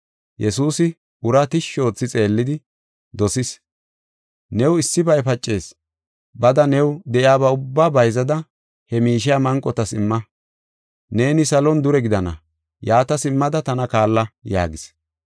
Yesuusi uraa tishshi oothi xeellidi dosis; “New issibay pacees; bada new de7iyaba ubbaa bayzada, he miishiya manqotas imma; neeni salon dure gidana. Yaata simmada tana kaalla” yaagis.